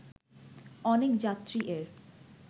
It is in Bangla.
অনেক যাত্রী এর